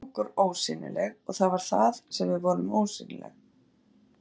Við lékum okkur ósýnileg, og það var það sem við vorum, ósýnileg.